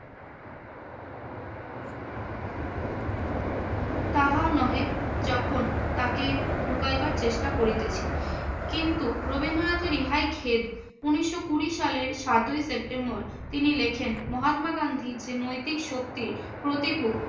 তাহাও নহে, যখন তাকে ঢুকাইবার চেষ্টা করিতেছি। কিন্তু রবীন্দ্রনাথের ইহাই খেদ। উনিশশো বিশ সালের সাতই সেপ্টেম্বর তিনি লেখেন, মহাত্মা গান্ধীর যে নৈতিক শক্তির প্রতিভু